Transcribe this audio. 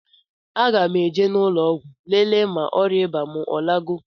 A ga mụ eje n' ụlọgwụ lele ma ọria ịba mụ alagọ